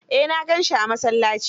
Eh na gansi a masallaci.